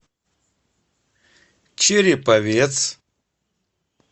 череповец